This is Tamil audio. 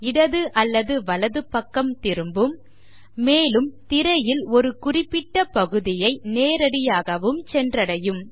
இடது அல்லது வலது பக்கம் திரும்பும் மேலும் திரையில் ஒரு குறிப்பிட்ட பகுதியை நேரடியாகவும் சென்றடையும்